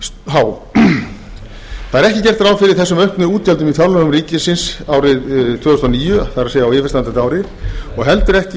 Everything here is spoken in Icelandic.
há ekki er gert ráð fyrir þessum auknu útgjöldum í fjárlögum ársins tvö þúsund og níu það er á yfirstandandi ári né í